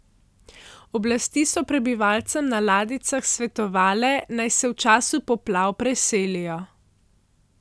Oblasti so prebivalcem na ladjicah svetovale, naj se v času poplav preselijo.